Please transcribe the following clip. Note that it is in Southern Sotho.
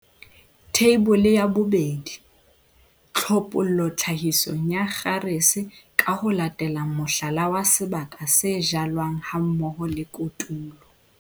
Theibole ya 2. Tlhophollo tlhahisong ya kgarese ka ho latela mohlala wa sebaka se jalwang hammoho le kotulo.